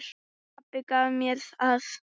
Pabbi gaf mér það.